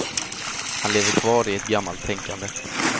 Han lever kvar i ett gammalt tänkande.